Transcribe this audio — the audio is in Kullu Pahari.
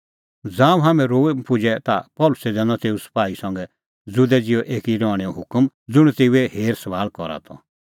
ज़ांऊं हाम्हैं रोम पुजै ता पल़सी लै दैनअ तेऊ सपाही संघै ज़ुदै ज़िहै एकी रहणैंओ हुकम ज़ुंण तेऊए हेरसभाल़ करा त